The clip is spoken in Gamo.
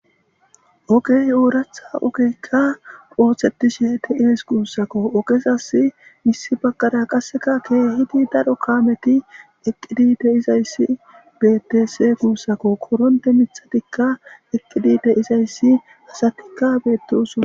Ogey ooratha ogeykka ooththetishe te7is guussako oqesas missi bagqara qasseka keehidi daro kaameti eqqidi deizayssi bettese guussako koronte mithatikka eqqidi deizayssi hasatikka beetteson.